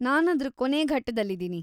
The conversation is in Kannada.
ನಾನ್‌ ಅದ್ರ ಕೊನೇ ಘಟ್ಟದಲ್ಲಿದೀನಿ.